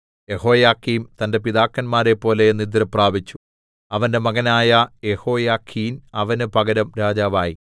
യെഹോയാക്കീം തന്റെ പിതാക്കന്മാരെപ്പോലെ നിദ്രപ്രാപിച്ചു അവന്റെ മകനായ യെഹോയാഖീൻ അവന് പകരം രാജാവായി